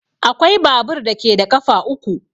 Akwai babur da ke da ƙafa uku.